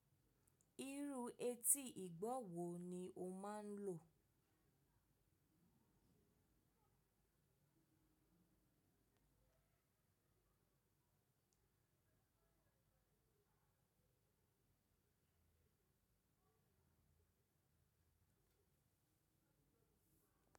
Irú etí ìgbọ̀ wo ni o máa ń lò?